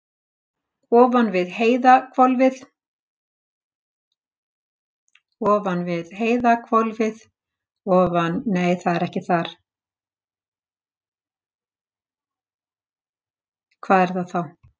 Ofan við heiðhvolfið er svokallað miðhvolf.